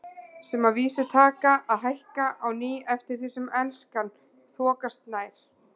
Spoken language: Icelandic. Sem að vísu taka að hækka á ný eftir því sem Elskan þokast nær.